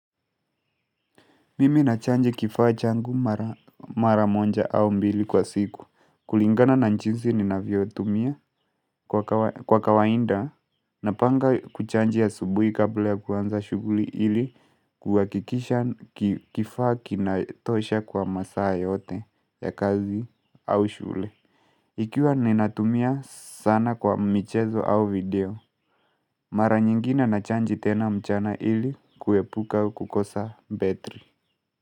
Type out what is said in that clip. Mimi nachaji kifaa changu mara moja au mbili kwa siku kulingana na jinsi ninavyo tumia kwa kawaida Napanga kuchaji ya asubuhi kabla ya kuanza shughuli ili Kwa kuhakikisha kifaa kinatosha kwa masaa yote ya kazi au shule Ikiwa ninatumia sana kwa mchezo au video Mara nyingine nachaji tena mchana ili kuepuka kukosa betri.